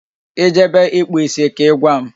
Ị jebe ịkpụ isi ka Ị gwa m